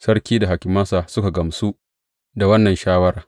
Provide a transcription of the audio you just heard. Sarki da hakimansa suka gamsu da wannan shawara.